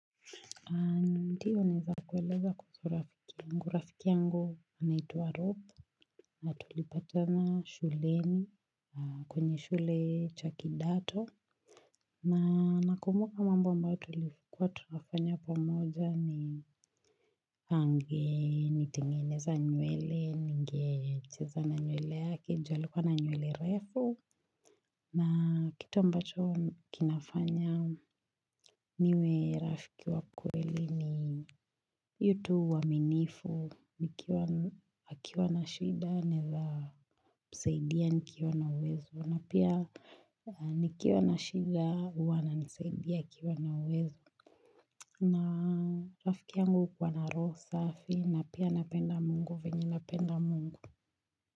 Ndio naeza kukueleza kuhusu rafiki yangu. Rafiki yangu anaitwa Rob. Na tulipatana shuleni kwenye shule cha kidato. Na nakumbuka mambuoo ambayo tulikuwa tunafanya pamoja ni angenitengeneza nywele, ningecheza na nywele yake, juu alikuwa na nywele refu. Na kitu ambacho kinafanya niwe rafiki wa kweli ni. Hiyo tu uaminifu. Nikiwa akiwa na shida naeza msaidia nikiwa na uwezo, na pia nikiwa na shida huwa ananisaidia akiwa na uwezo na rafiki yangu hukuwa na roho safi na pia anapenda mungu venye napenda mungu.